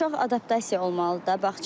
Uşaq adaptasiya olmalıdır da bağçaya da.